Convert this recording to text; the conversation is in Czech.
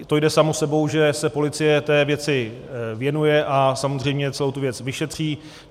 To jde samo sebou, že se policie té věci věnuje a samozřejmě celou tu věc vyšetří.